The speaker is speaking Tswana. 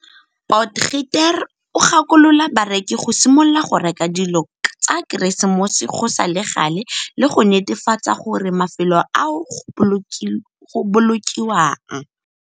Potgieter o gakolola bareki go simolola go reka dilo tsa Keresemose go sa le gale le go netefatsa gore mafelo ao go bolokiwang.